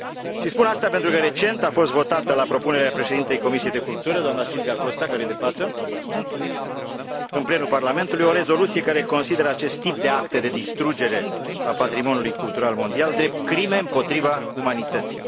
Și spun asta pentru că recent a fost votată la propunerea președintei Comisiei pentru cultură, doamna Silvia Costa, care este de față în plenul Parlamentului, o rezoluție care consideră acest tip de acte de distrugere a patrimoniului cultural mondial drept crime împotriva umanității.